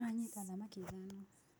Anyita thamaki ithano.